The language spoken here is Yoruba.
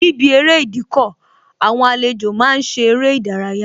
Níbi eré Ìdíkọ̀, àwọn àlejò máa ń ṣe eré ìdárayá